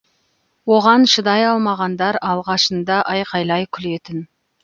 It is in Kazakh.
оған шыдай алмағандар алғашында айқайлай күлетін